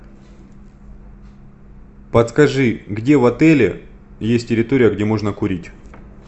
подскажи где в отеле есть территория где можно курить